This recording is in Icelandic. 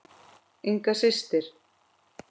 Inga systir.